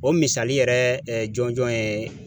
O misali yɛrɛ jɔnjɔn ye